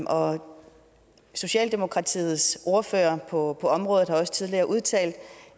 og socialdemokratiets ordfører på området har også tidligere udtalt